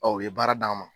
Ɔ u ye baara d'an ma